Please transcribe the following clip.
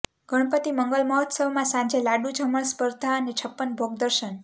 ગણપતિ મંગલ મહોત્સવમાં સાંજે લાડુ જમણ સ્પર્ધા અને છપ્પન ભોગ દર્શન